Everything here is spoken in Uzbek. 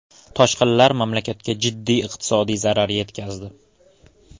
Toshqinlar mamlakatga jiddiy iqtisodiy zarar yetkazdi.